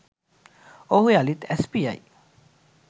ඔහු යළි ඇස් පියයි